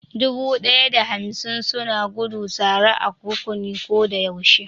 Dubu ɗaya da hamsin suna gudu tare a rukuni ko da yaushe